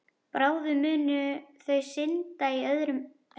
Bráðum munu þau synda í öðru herbergi.